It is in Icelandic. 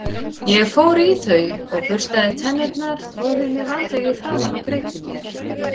Ég fór í þau og burstaði tennurnar, þvoði mér vandlega í framan og greiddi mér.